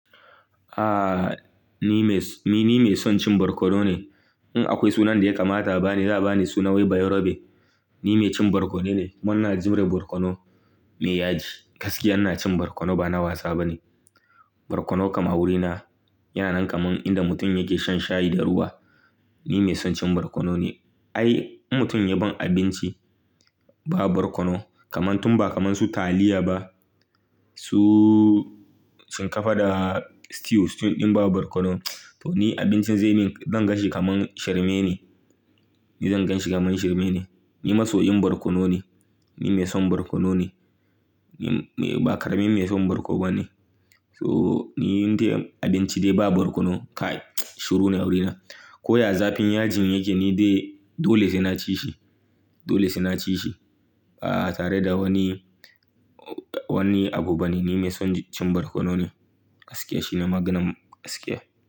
Ah, ni me-- ni mai son cin barkono ne. In akwai sunan da ya kamata ba ni, za a ba ni suna wai Bayerobe. Ni mai cin barkono ne, kuma ina jure barkono mai yaji. Gaskiya ina cin barkono ba na wasa ba ne. Barkono kama wurina, yana nan kaman inda mutum yake shan shayi da ruwa. Ni mai son cin barkono ne. Ai mutum ya ban abinci ba barkono kaman tun ba kaman su taliya ba, su shinkafa da stew, stew ɗin ba barkono, to ni abincin zai min, zan gan shi kaman shirme ne. Ni zan gan shi kaman shirme ne. Ni masoyin barkono ne, ni mai son barkono ne, ni ba ƙaramin mai son barko ba ne. So ni in dai abinci dai ba barkono, kai shiru ne wurina. Ko ya zafi yin yajin yake ni dai dole sai na ci shi, dole sai na ci shi. Ah tare da wani, wani abu bane, ni mai son cin barkono ne. Gaskiya shine maganan gaskiya.